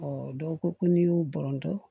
dɔw ko ko n'i y'u bɔrɔntɔ